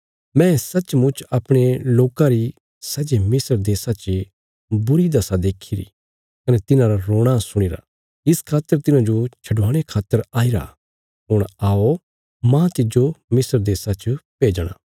मैं सचमुच अपणे लोकां री सै जे मिस्र देशा चे बुरी दशा देखीरा कने तिन्हांरा रोणा सुणीरा इस खातर तिन्हांजो छडवाणे खातर आईरा हुण आओ मांह तिज्जो मिस्र देशा च भेजणा